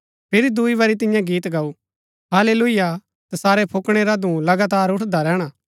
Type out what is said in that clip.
फिरी दूई बरी तिन्ये गीत गाऊ हाल्लेलुयाह तसारै फुक्कीणै रा धूँ लगातार उठदा रैहणा